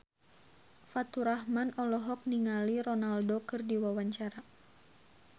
Faturrahman olohok ningali Ronaldo keur diwawancara